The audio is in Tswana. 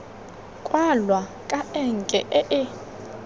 kwalwa ka enke e e